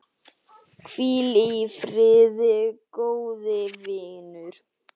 Hvíl í friði, góði vinur.